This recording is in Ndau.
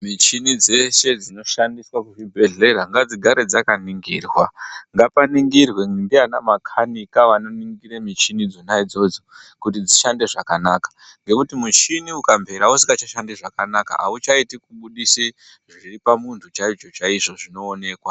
Michini dzeshe dzinoshandiswa kuzvibhehlera ngadzigare dzakaningirwa. Ngapaningirwe ndiana makanika vanoningire michini dzona idzodzo kuti dzishande zvakanaka ngokuti muchini ukamvera usingachashandi zvakanaka hazvichaitu